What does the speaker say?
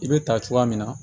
I bɛ ta cogoya min na